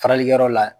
Faralikɛyɔrɔ la